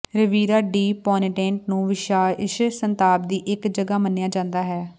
Riviera di Ponente ਨੂੰ ਵਿਸ਼ੇਸ਼ ਸੰਤਾਪ ਦੀ ਇੱਕ ਜਗ੍ਹਾ ਮੰਨਿਆ ਜਾਂਦਾ ਹੈ